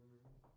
Mh